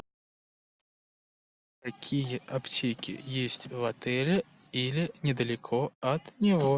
какие аптеки есть в отеле или недалеко от него